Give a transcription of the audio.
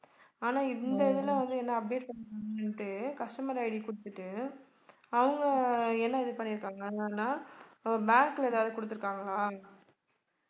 ஆனால் இந்த இதுல வந்து என்ன update customer ID குடுத்துட்டு அவங்க என்ன இது பண்ணிருக்காங்கனா bank ல ஏதாவது குடுத்திருக்காங்களா